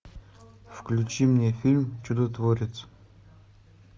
включи мне фильм чудотворец